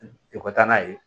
I ka taa n'a ye